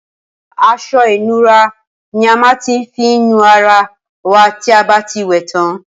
Asọ ìnura ni a má n fi nu ara wa tí abá ti wè tán